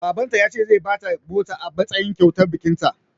Baban ta ya ce zai bata mota a matsayin kyautar bikin ta